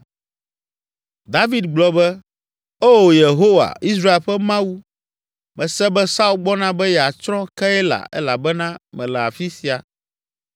David gblɔ be, “Oo, Yehowa, Israel ƒe Mawu, mese be Saul gbɔna be yeatsrɔ̃ Keila elabena mele afi sia.